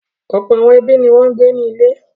Ọ̀pọ̀ àwọn ẹbí ni wọ́n ń gbé ní ilé.